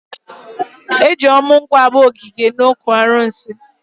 Eji ọmụ nkwụ agba ogige n'okwu arụsị.